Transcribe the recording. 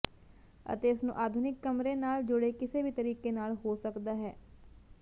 ਅਤੇ ਇਸ ਨੂੰ ਆਧੁਨਿਕ ਕਮਰੇ ਨਾਲ ਜੁੜੇ ਕਿਸੇ ਵੀ ਤਰੀਕੇ ਨਾਲ ਨਾ ਹੋ ਸਕਦਾ ਹੈ